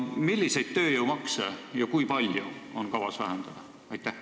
Milliseid tööjõumakse ja kui palju on kavas vähendada?